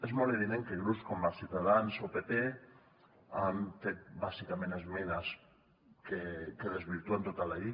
és molt evident que grups com ciutadans o pp han fet bàsicament esmenes que desvirtuen tota la llei